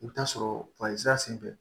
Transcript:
I bɛ taa sɔrɔ senfɛ